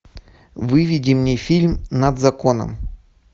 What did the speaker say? выведи мне фильм над законом